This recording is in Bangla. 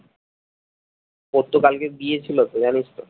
ওর তো কালকে বিয়ে ছিলো তো জানিস তো?